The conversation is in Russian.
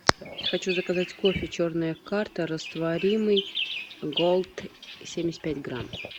хочу заказать кофе черная карта растворимый голд семьдесят пять грамм